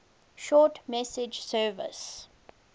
short message service